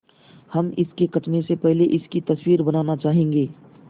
हम इसके कटने से पहले इसकी तस्वीर बनाना चाहेंगे